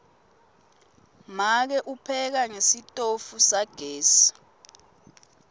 make upheka ngesitofu sagesi